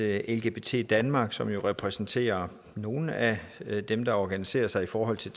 at lgbt danmark som jo repræsenterer nogle af dem der organiserer sig i forhold til